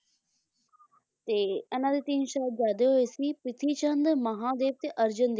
ਤੇ ਇਹਨਾਂ ਦੇ ਤਿੰਨ ਸਾਹਿਬਜ਼ਾਦੇ ਹੋਏ ਸੀ ਪ੍ਰਿਥੀ ਚੰਦ, ਮਹਾਨ ਦੇਵ ਤੇ ਅਰਜਨ ਦੇਵ ਜੀ